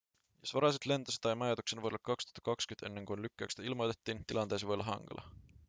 jos varasit lentosi tai majoituksen vuodelle 2020 ennen kuin lykkäyksestä ilmoitettiin tilanteesi voi olla hankala